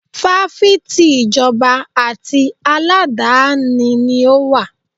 Fáfitì ìjọba àti aládàáni ni ó wà.